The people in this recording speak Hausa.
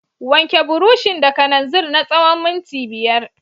Wanke burushin da kananzir na tsawon minti biyar.